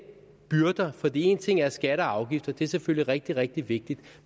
byrder for en ting er skatter og afgifter det er selvfølgelig rigtig rigtig vigtigt